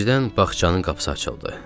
Birdən bağçanın qapısı açıldı.